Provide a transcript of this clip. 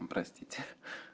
простите